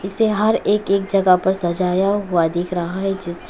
इसे हर एक एक जगह पर सजाया हुआ दिख रहा है जिस--